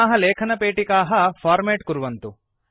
इमाः लेखनपेटिकाः फॉर्मेट् कुर्वन्तु